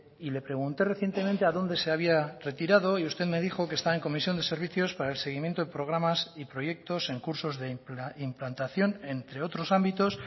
y le pregunté recientemente a dónde se había retirado y usted me dijo que está en comisión de servicios para el seguimiento de programas y proyectos en cursos de implantación entre otros ámbitos